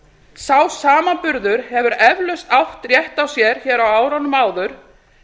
sá samanburður hefur eflaust átt rétt á sér hér á árunum áður